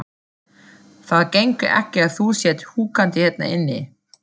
Það gengur ekki að þú sért húkandi hérna inni.